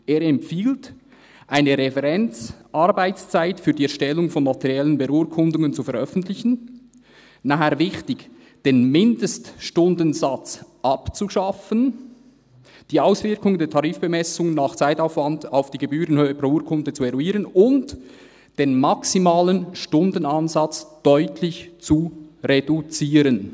Er empfiehlt, eine Referenzarbeitszeit für die Erstellung von notariellen Beurkundungen zu veröffentlichen» – dann, wichtig –, «den Mindeststundensatz abzuschaffen, die Auswirkungen der Tarifbemessung nach Zeitaufwand […] auf die Gebührenhöhe pro Urkunde zu eruieren und den maximalen Stundenansatz deutlich zu reduzieren.